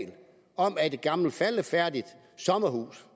om at et gammelt faldefærdigt sommerhus